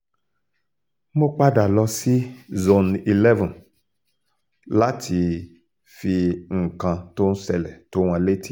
mo padà lọ sí zone eleven láti fi nǹkan tó ń ṣẹlẹ̀ tó wọn létí